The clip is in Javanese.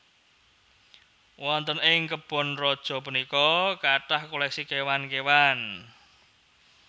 Wonten ing kebon raja punika kathah koleksi kéwan kéwan